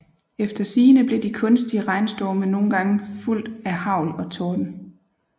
Efter sigende blev de kunstige regnstorme nogle gange fulgt af hagl og torden